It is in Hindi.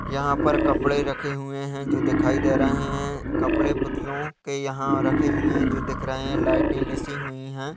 यहाँ पर कपड़े रखे हुए हैं जो दिखायी दे रहे हैं कपड़े पतलू के यहाँ रखे हुए हैं जो दिख रहे हैं लाइटे लेसी हुई हैं।